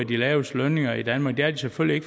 de laveste lønninger i danmark det er de selvfølgelig